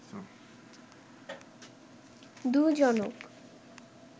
দুজনক